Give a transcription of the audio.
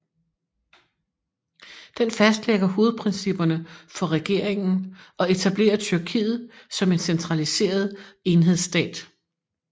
Den fastlægger hovedprincipperne for regeringen og etablerer Tyrkiet som en centraliseret enhedsstat